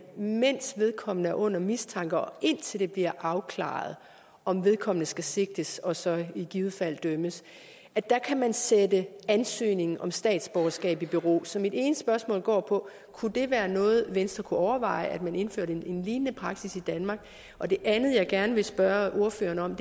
mens vedkommende er under mistanke og indtil det bliver afklaret om vedkommende skal sigtes og så i givet fald dømmes kan man sætte ansøgningen om statsborgerskab i bero så mit ene spørgsmål går på kunne det være noget venstre kunne overveje altså at man indførte en lignende praksis i danmark og det andet jeg gerne vil spørge ordføreren om